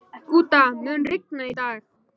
Skúta, mun rigna í dag?